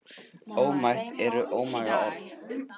Ómætt eru ómaga orð.